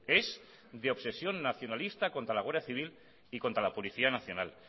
es de obsesión nacionalista contra la guardia civil y contra la policía nacional